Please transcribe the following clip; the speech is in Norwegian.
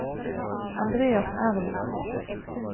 Andreas Ervik